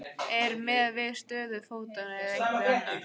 Eða er miðað við stöðu fótanna eða einhvers annars?